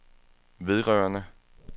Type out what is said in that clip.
vedrørende